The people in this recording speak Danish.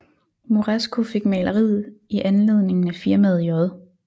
Moresco fik maleriet i anledning af firmaet J